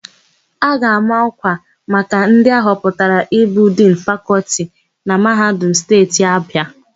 A ga-ama ọ́kwà maka ndị ahọpụtara ịbụ Dinu Fakọltị na Mahadum Steeti Abịa.